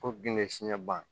Fo bin bɛ fiɲɛ ban